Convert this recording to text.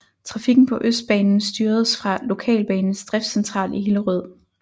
Trafikken på Østbanen styredes fra Lokalbanens driftscentral i Hillerød